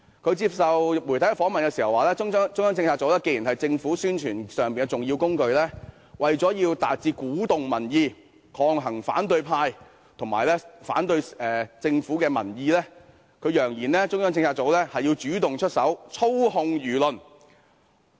他接受媒體訪問時表示，中策組既然是政府的重要宣傳工具，為了鼓動民意，抗衡反對派及反對政府的民意，他揚言中策組要主動出手，操控輿論。